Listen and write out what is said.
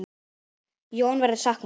Jóa verður saknað.